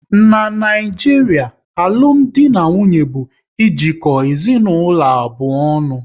N'Naijiria, alụmdi na nwunye bụ ejiko ezinaụlọ abụọ ọnụ